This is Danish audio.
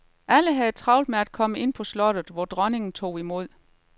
Alle havde travlt med at komme ind på slottet, hvor dronningen tog imod.